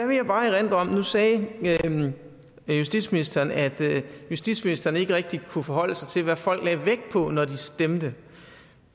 vil jeg bare erindre om nu sagde justitsministeren at justitsministeren ikke rigtig kunne forholde sig til hvad folk lagde vægt på når de stemte